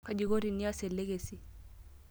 Kaji inko tinias elekasi?